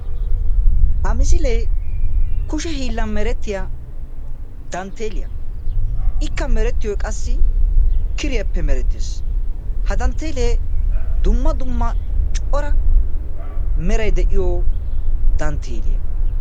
ha misilee kushe hiilan meretiya dantteliyaa; ikka meretiyoy qassi kiriyaappe mereteess, ha danttele dumma dumma cora meray de'iyo dantteliyaa.